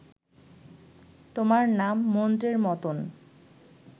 তোমার নাম মন্ত্রের মতন